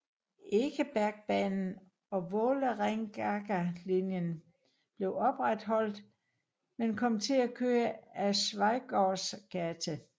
Ekebergbanen og Vålerengagalinjen blev opretholdt men kom til at køre ad Schweigaards gate